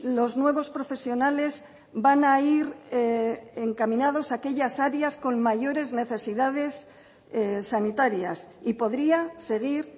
los nuevos profesionales van a ir encaminados a aquellas áreas con mayores necesidades sanitarias y podría seguir